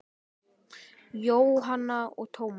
Jóhanna og Tómas.